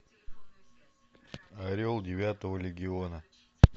орел девятого легиона